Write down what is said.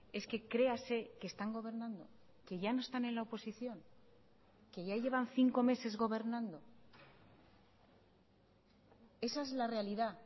es que crease que están gobernando que ya no están en la oposición que ya llevan cinco meses gobernando esa es la realidad